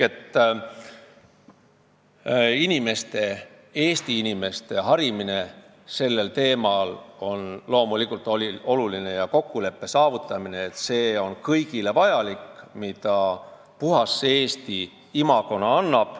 Eesti inimeste harimine sellel teemal on loomulikult oluline ja kõik võidavad kokkuleppe saavutamisest, et see on kõigile vajalik, mida puhta Eesti imago annab.